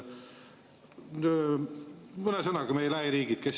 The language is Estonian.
Mõne sõnaga, kes meie lähiriikidest …